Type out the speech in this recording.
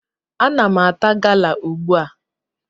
Ana m ata gala ugbu a.